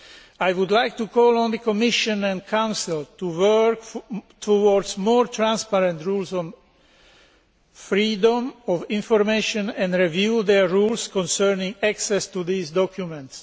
I would like to call on the Commission and Council to work towards more transparent rules on freedom of information and review their rules concerning access to these documents.